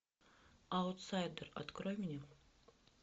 аутсайдер открой мне